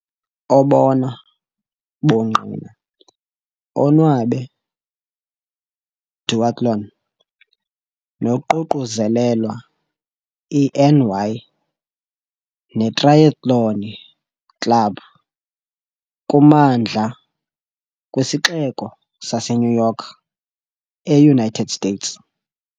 Obona bungqina onwabe duathlon noququzelelwa i NY netrayethloni Club kummandla kwiSixeko saseNew York, eUnited States.